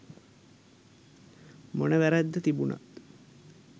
මොන වැරැද්ද තිබුණත්